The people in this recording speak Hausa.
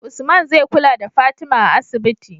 Usman zai kula da fatima a asibiti